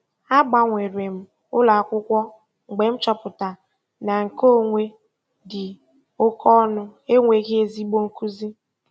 A gbanwere m ụlọ akwụkwọ mgbe m chọpụtara na nkeonwe dị oke ọnụ enweghị ezigbo nkuzi.